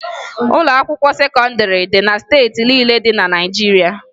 Ụlọakwụkwọ sekọndịrị dị na steeti niile dị na Naịjirịa